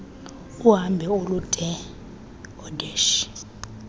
uhambo olude oodeshy